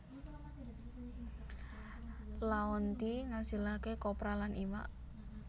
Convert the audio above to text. Laonti ngasilaké kopra lan iwak